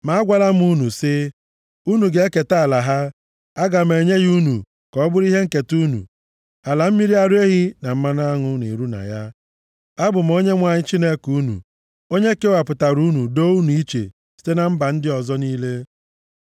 Ma agwala m unu sị, “Unu ga-eketa ala ha. Aga m enye ya unu ka ọ bụrụ ihe nketa unu. Ala mmiri ara ehi na mmanụ aṅụ na-eru na ya.” Abụ m Onyenwe anyị Chineke unu onye kewapụtara unu doo unu iche site na mba ndị ọzọ niile.